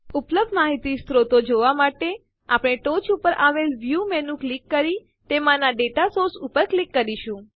ઉપલબ્ધ માહિતી સ્ત્રોતો જોવાં માટે આપણે ટોચ ઉપર આવેલ વ્યૂ મેનુને ક્લિક કરી તેમાંના દાતા સોર્સિસ ઉપર ક્લિક કરીશું